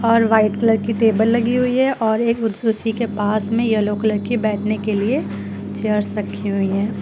और white colour की table लगी हुई है और एक उसी के पास में येलो कलर की बैठने के लिए चेयर्स रखी हुई है।